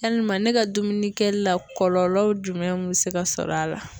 Yalima ne ka dumuni kɛli la kɔlɔlɔw jumɛn bɛ se ka sɔrɔ a la .